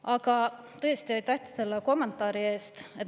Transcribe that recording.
Aga tõesti, aitäh selle kommentaari eest!